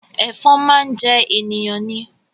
Ẹ̀fọn máa ń jẹ ènìyàn ni